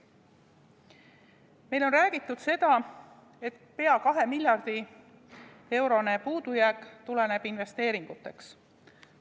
Meile on räägitud seda, et pea 2 miljardi eurone puudujääk tuleneb investeeringutest.